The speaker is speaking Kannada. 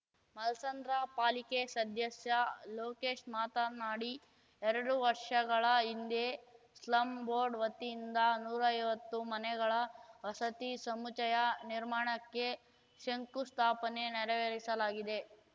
ಮಲ್ ಸಂದ್ರ ಪಾಲಿಕೆ ಸದ್ದಸ್ಯ ಲೋಕೇಶ್‌ ಮಾತನಾಡಿ ಎರಡು ವರ್ಷಗಳ ಹಿಂದೆಯೇ ಸ್ಲಂ ಬೋರ್ಡ್‌ ವತಿಯಿಂದ ನೂರೈವತ್ತು ಮನೆಗಳ ವಸತಿ ಸಮುಚ್ಚಯ ನಿರ್ಮಾಣಕ್ಕೆ ಶಂಕುಸ್ಥಾಪನೆ ನೆರವೇರಿಸಲಾಗಿದೆ